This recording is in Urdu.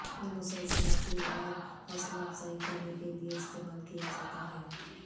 یہ مسلسل اپیل اور حوصلہ افزائی کرنے کے لئے استعمال کیا جاتا ہے